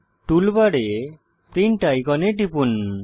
টুলবারে প্রিন্ট আইকনে টিপুন